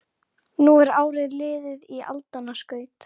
Hann átti ekkert með að segja þetta um þau.